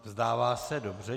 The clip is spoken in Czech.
Vzdává se, dobře.